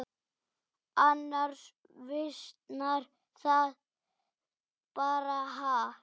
Annars visnar það bara, ha.